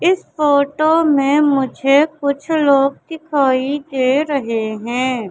इस फोटो में मुझे कुछ लोग दिखाई दे रहे हैं।